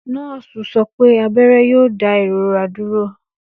Nọọsi sọ pe abẹrẹ yoo da irora duro.